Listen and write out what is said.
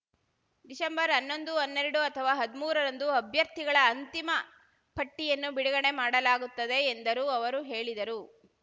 December ಹನ್ನೊಂದು ಹನ್ನೆರಡು ಅಥವಾ ಹದ್ಮೂರ ರಂದು ಅಭ್ಯರ್ಥಿಗಳ ಅಂತಿಮ ಪಟ್ಟಿಯನ್ನು ಬಿಡುಗಡೆ ಮಾಡಲಾಗುತ್ತದೆ ಎಂದರು ಅವರು ಹೇಳಿದರು